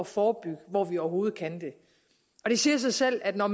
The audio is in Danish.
forebygge hvor vi overhovedet kan det og det siger sig selv at når